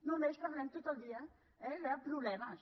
només parlem tot el dia de problemes